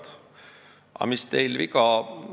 Ta ütles: "Aga mis teil viga?